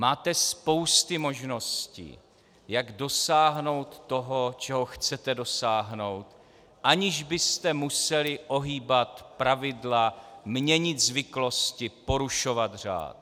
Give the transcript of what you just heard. Máte spousty možností, jak dosáhnout toho, čeho chcete dosáhnout, aniž byste museli ohýbat pravidla, měnit zvyklosti, porušovat řád.